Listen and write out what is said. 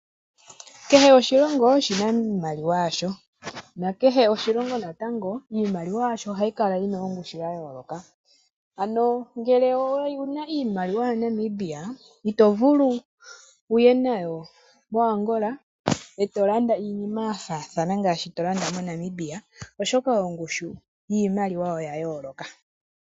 Kehe oshilongo oshina iimaliwa yasho, na kehe oshilongo natango iimaliwa yasho ohayi kala shina iimaliwa yayooloka, ano ngele owuna iimaliwa yaNamibia, ito vulu wuye nayo koAngola eto landa iinima yafaathana ngaashi tolanda moNamibia, oshoka ongushu yiimaliwa oya yooloka.